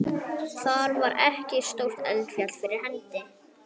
Þar var ekkert stórt eldfjall fyrir hendi.